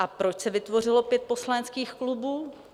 A proč se vytvořilo pět poslaneckých klubů?